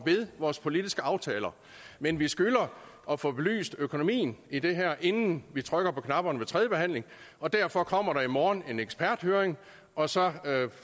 ved vores politiske aftaler men vi skylder at få belyst økonomien i det her inden vi trykker på knapperne ved tredje behandling og derfor kommer der i morgen en eksperthøring og så